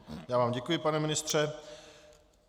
Já vám děkuji, pane ministře.